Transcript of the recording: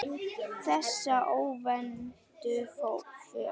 Þessa óvæntu för.